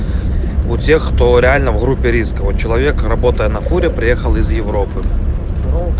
у тех кто реально в группе риска вот человек работая на фуре приехал из европы